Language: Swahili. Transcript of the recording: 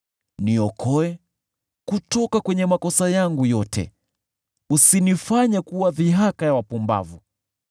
Niokoe kutoka kwenye makosa yangu yote, usinifanye kuwa dhihaka ya wapumbavu.